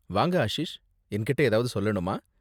வாங்க ஆஷிஷ், என்கிட்ட ஏதாவது சொல்லனுமா?